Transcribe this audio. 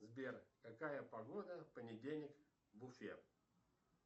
сбер какая погода в понедельник в уфе